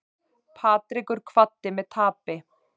Patrekur kvaddi með tapi